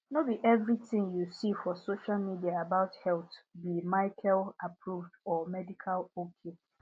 no be everything you see for social media about health be michelleapproved or medical ok